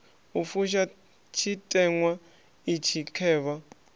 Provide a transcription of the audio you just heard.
u fusha tshiteṅwa itshi khevha